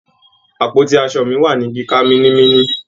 Àpótí aṣo mi wà ní kíká mínímíní.